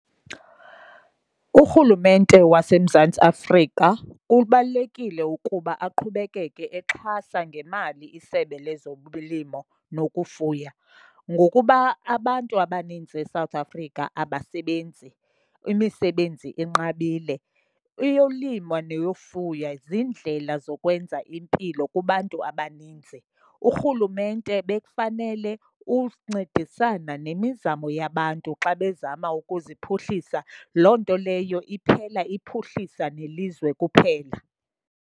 Urhulumente waseMzantsi Afrika kubalulekile ukuba aqhubekeke exhasa ngemali isebe lezolimo nokufuya ngokuba abantu abaninzi eSouth Africa abasebenzi, imisebenzi inqabile. Eyolimo neyofuya ziindlela zokwenza impilo kubantu abaninzi, urhulumente bekufanele uncedisana nemizamo yabantu xa bezama ukuziphuhlisa. Loo nto leyo iphela iphuhlisa nelizwe kuphela.